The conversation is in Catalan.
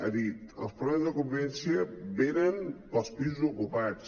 ha dit els problemes de convivència venen pels pisos ocupats